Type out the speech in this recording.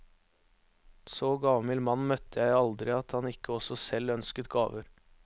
Så gavmild mann møtte jeg aldri at han ikke også selv ønsket gaver.